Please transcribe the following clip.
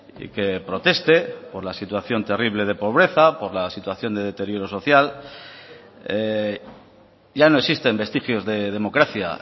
y que proteste por la situación terrible de pobreza por la situación de deterioro social ya no existen vestigios de democracia